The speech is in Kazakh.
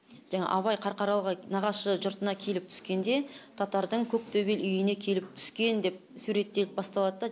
жаңа абай қарқаралыға нағашы жұртына келіп түскенде татардың көктөбе үйіне келіп түскен деп суреттеліп басталад да